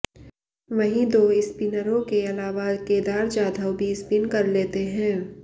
वहीं दो स्पिनरों के अलावा केदार जाधव भी स्पिन कर लते हैं